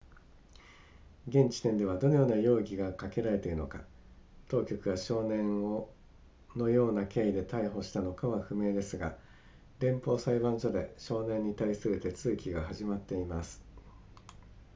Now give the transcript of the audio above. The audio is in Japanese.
現時点ではどのような容疑がかけられているのか当局が少年をのような経緯で逮捕したのかは不明ですが連邦裁判所で少年に対する手続きが始まっています